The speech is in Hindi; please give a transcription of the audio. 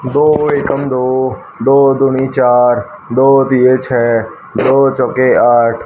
दो एकम दो दो दूनी चार दो तीये छे दो चौके आठ--